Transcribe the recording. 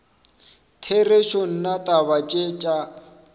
therešo nna taba tše tša